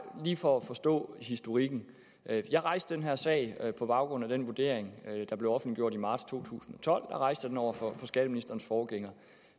lige for at forstå historikken jeg rejste den her sag på baggrund af den vurdering der blev offentliggjort i marts to tusind og tolv der rejste jeg den over for skatteministerens forgænger